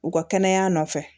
U ka kɛnɛya nɔfɛ